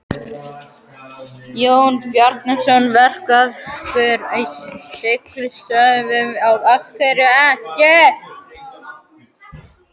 Jón Bernódusson, verkfræðingur á Siglingastofnun: Af hverju ekki?